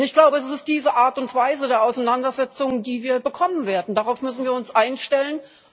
Ich glaube, es ist diese Art und Weise der Auseinandersetzung, die wir bekommen werden darauf müssen wir uns einstellen.